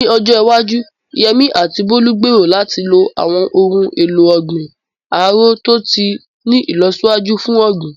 Ní ọjọ́ iwájú, Yemí àti Bólú gbèrò láti lo àwọn ohun èlò ọ̀gbìn árò tó ti ní ìlọsíwájú fún ọ̀gbìn.